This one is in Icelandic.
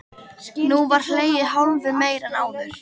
Nú var hlegið hálfu meir en áður.